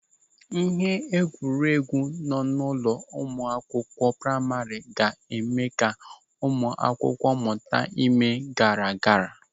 Ịhe egwuregwu nọ n'ụlọ akwụkwọ praima ga-eme ka ụmụ akwụkwọ mụta ime garagara.